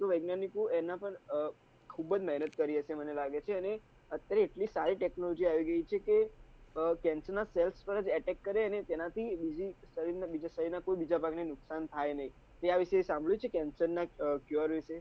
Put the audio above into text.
વૈજ્ઞાનિકો એમના પર આહ ખુબજ મહેનત કરી હશે મને લાગે છે એને એટલી સારી tecnology આવી ગઈ છે કે આહ calcium પર એટેક કરે અને તેનાથી બીજી શરીર માં બીજી કોઈ બીજા ભાગને નુકશાન થાય નહિ તે આ વિષે સાભળ્યું છે cancel ના secure